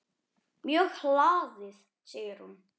Mjög hlaðið segir hún.